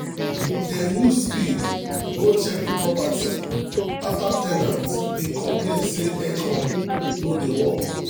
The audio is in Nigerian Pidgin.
dem use speed go check de property after ten ant be complain say aircon no dey work.